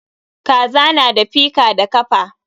Kaza na da fika da kafa.